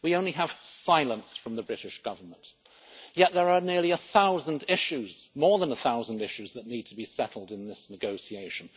We only have silence from the British Government, yet there are nearly a thousand issues, more than a thousand issues, that need to be settled in this negotiation.